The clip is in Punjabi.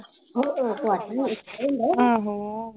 ਆਹੋ